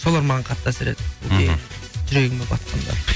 солар маған қатты әсер етті мхм жүрегіме батқандар